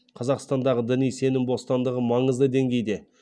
қазақстандағы діни сенім бостандығы маңызды деңгейде